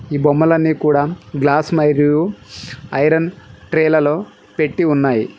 ఈ బొమ్మలన్నీ కూడా గ్లాసు మరియు ఐరన్ ట్రేలలో పెట్టి ఉన్నాయి.